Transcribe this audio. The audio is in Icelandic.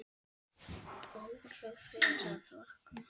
Bára fer að vakna.